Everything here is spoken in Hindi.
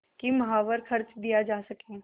कि माहवार खर्च दिया जा सके